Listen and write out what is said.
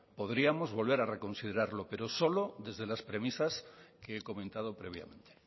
podríamos volver a reconsiderarlo pero solo desde las premisas que he comentado previamente